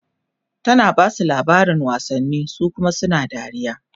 tana Basu labarin wasanni su Kuma suna dariya